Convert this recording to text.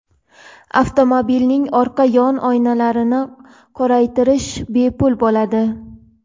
Avtomobilning orqa yon oynalarini qoraytirish bepul bo‘ladi.